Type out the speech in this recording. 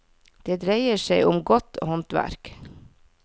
Det dreier seg om godt håndverk.